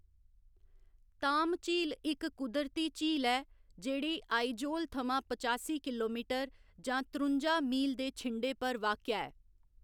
ताम झील इक कुदरती झील ऐ जेह्‌ड़ी आइजोल थमां पचासी किलोमीटर जां त्रुंजा मील दे छिंडे पर वाक्या ऐ।